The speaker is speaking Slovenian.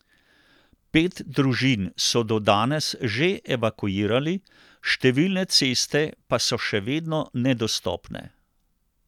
Pet družin so do danes že evakuirali, številne ceste pa so še vedno nedostopne.